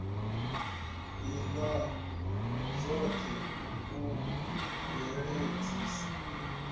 ila dzot he u bveledzisa